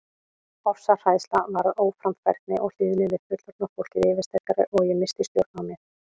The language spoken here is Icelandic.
Ofsahræðsla varð óframfærni og hlýðni við fullorðna fólkið yfirsterkari og ég missti stjórn á mér.